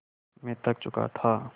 मैं थक चुका था